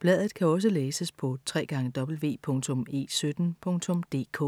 Bladet kan også læses på www.e17.dk